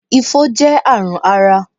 Ifo jẹ́ àrùn ara